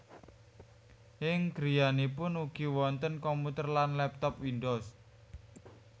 Ing griyanipun ugi wonten komputer lan laptop Windows